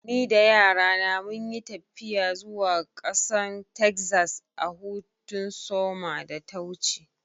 Ni da yara na mun yi taffiya zuwa kasan Texas a'hutun soma da ta wuce.